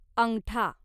अंगठा